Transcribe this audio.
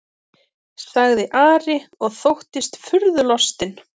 sagði Ari og þóttist furðulostinn.